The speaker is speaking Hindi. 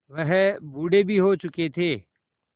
वह बूढ़े भी हो चुके थे